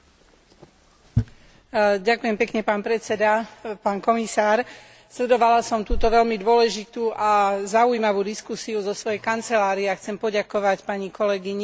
Sledovala som túto veľmi dôležitú a zaujímavú diskusiu zo svojej kancelárie a chcem poďakovať pani kolegyni Geringer aj Vám, pán podpredseda Európskej komisie.